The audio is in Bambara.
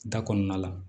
Da kɔnɔna la